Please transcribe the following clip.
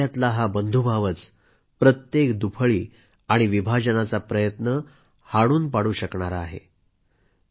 आणि आपल्यातला बंधुभावच प्रत्येक विभाजनाचा प्रयत्न हाणून पाडू शकणार आहे